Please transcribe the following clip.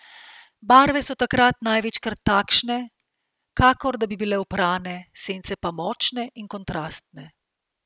Barve so takrat največkrat takšne, kakor da bi bile oprane, sence pa močne in kontrastne.